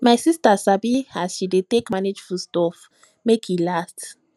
my sista sabi as she dey take manage food stuff make e last